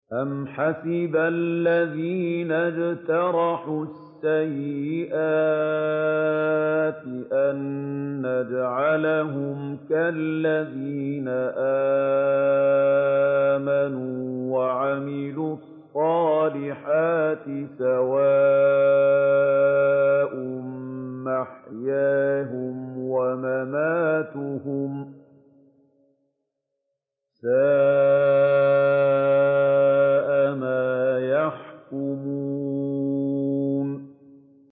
أَمْ حَسِبَ الَّذِينَ اجْتَرَحُوا السَّيِّئَاتِ أَن نَّجْعَلَهُمْ كَالَّذِينَ آمَنُوا وَعَمِلُوا الصَّالِحَاتِ سَوَاءً مَّحْيَاهُمْ وَمَمَاتُهُمْ ۚ سَاءَ مَا يَحْكُمُونَ